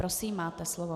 Prosím, máte slovo.